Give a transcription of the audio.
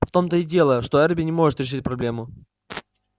в том-то и дело что эрби не может решить проблему